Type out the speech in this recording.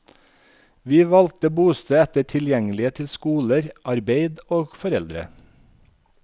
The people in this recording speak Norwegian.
Vi valgte bosted etter tilgjengelighet til skoler, arbeid og foreldre.